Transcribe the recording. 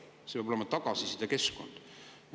See peab olema tagasisidekeskkond.